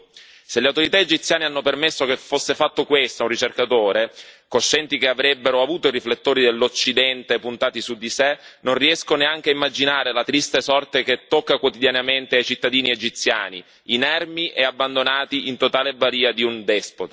Se le autorità egiziane hanno permesso che fosse fatto questo a un ricercatore, coscienti che avrebbero avuto i riflettori dell'Occidente puntati su di sé, non riesco neanche a immaginare la triste sorte che tocca quotidianamente ai cittadini egiziani inermi e in totale balia di un despota.